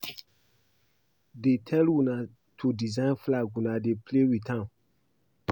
Dey tell una to design flag una dey play with am